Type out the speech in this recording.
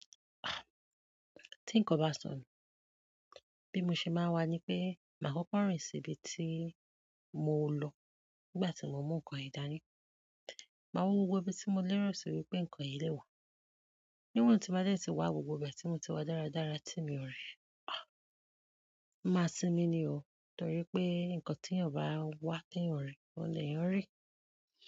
Ah! Ti nkan o ba sọ nu. Bí mo ṣe máa wà ní pé, máa kọ́kọ́ rìn síbi tí mo lọ nígbà tí mo mú nǹkan yen dání. Máa wo gbogbo ibi tí mo lérò sórí pé nǹkan yen lè wà. Níwọ̀n tí n bá dé tí wà, gbogbo ibe tí mo ti wá dáradára tímì o ri, ah, mo máa sinmi ni o. Nítorí pé nǹkan tí èyàn bá n wá tíyan o ri, ò leyan rí i.